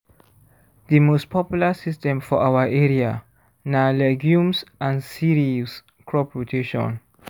the most popular system for our area na legumes and cereals crop rotation